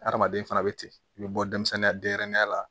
Adamaden fana bɛ ten i bɛ bɔ denmisɛnninya denyɛrɛninya la